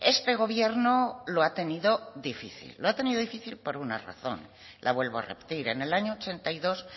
este gobierno lo ha tenido difícil lo ha tenido difícil por una razón la vuelvo a repetir en el año ochenta y dos